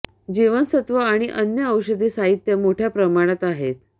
जीवनसत्वं आणि अन्य औषधी साहित्य मोठ्या प्रमाणात आहेत